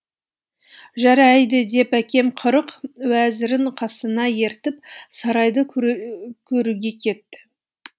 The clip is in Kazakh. жарайды деп әкем қырық уәзірін қасына ертіп сарайды көруге кетті